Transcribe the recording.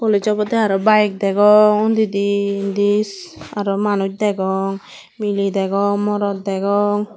college obode aro bike degong undidi indi aro manuj degong mile degong morot degong.